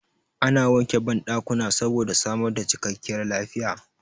Ana wanke banɗakuna saboda samar da cikakkiyar lafiya